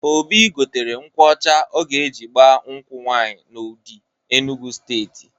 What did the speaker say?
Obi gotere nkwụ ọcha ọ ga-eji gbaa nkwụ nwaanyị n'Udi, Enugwu Steeti.